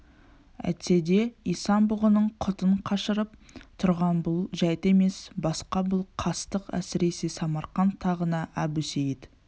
әйтсе де исан-бұғының құтын қашырып тұрған бұл жәйт емес басқа бұл қастық әсіресе самарқант тағына әбусейіт